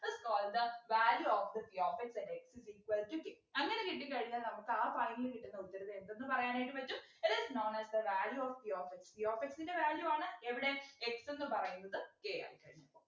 is called the value of the p of x at x ix equal to k അങ്ങനെ കിട്ടിക്കഴിഞ്ഞാൽ നമുക്ക് ആ finally കിട്ടുന്ന ഉത്തരത്തെ എന്തെന്ന് പറയാനായിട്ടു പറ്റും it is known as the value of p of x p of x ൻ്റെ value ആണ് എവിടെ x എന്ന് പറയുന്നത് k ആയിക്കഴിഞ്ഞപ്പോ